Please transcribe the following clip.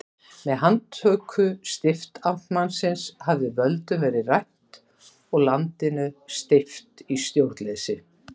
Með handtöku stiftamtmannsins hafði völdum verið rænt og landinu steypt í stjórnleysi.